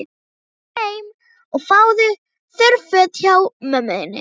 Farðu nú heim og fáðu þurr föt hjá mömmu þinni.